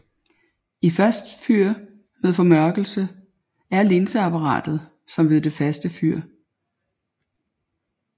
I fast fyr med formørkelse er linseapparatet som ved det faste fyr